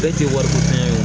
Bɛɛ tɛ wariko fɛn ye